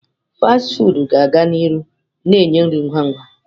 Fasti fụụdụ ga aga n'ihu na-enye nri ngwa ngwa.